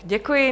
Děkuji.